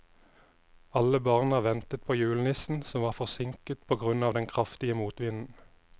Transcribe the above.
Alle barna ventet på julenissen, som var forsinket på grunn av den kraftige motvinden.